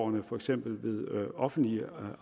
ved for eksempel offentlige